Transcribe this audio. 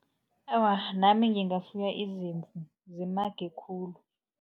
Awa, nami ngingafuya izimvu zimage khulu.